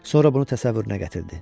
Sonra bunu təsəvvürünə gətirdi.